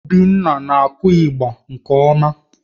Obinna na-akụ ịgba nke ọma